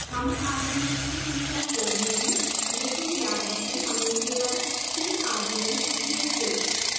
हमें arguments की संख्या 4 मिली लेकिन याद रखें हमने केवल 3 arguments दिए थे